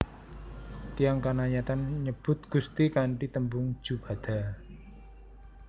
Tiyang Kanayatn nyebut Gusti kanthi tembung Jubata